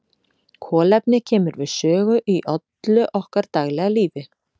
Kolefni kemur við sögu í öllu okkar daglega lífi.